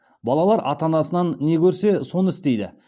балалар ата анасынан не көрсе соны істейді